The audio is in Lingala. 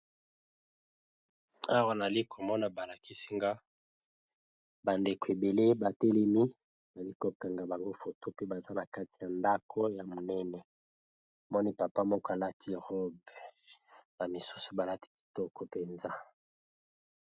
Awa nazali komona balakisinga bandeko ebele batelemi nalikokanga bango foto pe baza na kati ya ndako ya monene moni papa moko alati robe bamisusu balati kitoko mpenza.